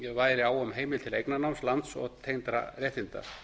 væri á um heimild til eignarnáms lands og tengdra réttinda